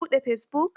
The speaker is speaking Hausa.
Ka buɗe fesibuk?